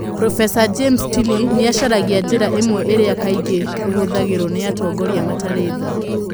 Profesa James Tilley nĩ acaragia njĩra imwe iria kaingĩ ihũthagĩrũo nĩ atongoria matarĩ tha.